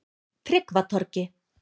Tryggvatorgi